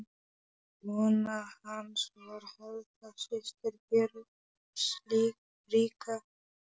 Kona hans var Helga, systir Björns ríka.